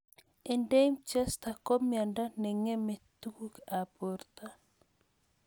Erdheim Chester ko miondo ne ng'emei tuguk ab porto